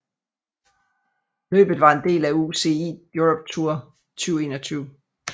Løbet var en del af UCI Europe Tour 2021